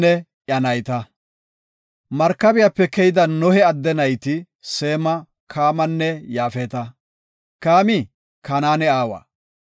Markabiyape keyida Nohe adde nayti Seema, Kaamanne Yaafeta; Kaami Kanaane aawa.